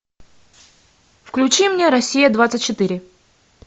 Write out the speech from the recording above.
включи мне россия двадцать четыре